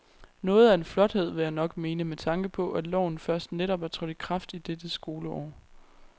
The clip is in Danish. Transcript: Noget af en flothed vil jeg nok mene med tanke på, at loven først netop er trådt i kraft i dette skoleår.